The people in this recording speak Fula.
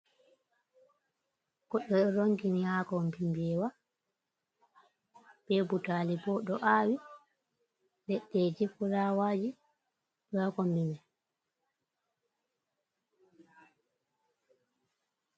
Goɗɗo ɗo rongini ha kobim bewa. Be butali bo ɗo awi. Leɗɗeji furawaji ɗonha kombi mai.